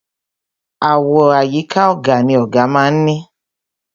Àwo àyíká ọ̀gà ni ọ̀gà má a ń ní.